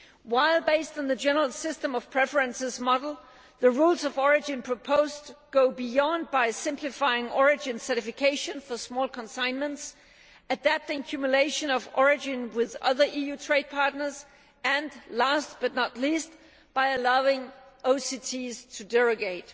While based on the General System of Preferences model, the rules of origin proposed go further, by simplifying origin certification for small consignments, adapting cumulation of origin with other EU trade partners and last but not least by allowing OCTs to derogate.